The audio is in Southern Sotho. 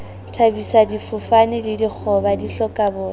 thabisa difofane le dikgoba dihlokaboya